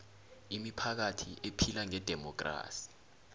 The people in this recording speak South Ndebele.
imiphakathi ephila ngedemokhrasi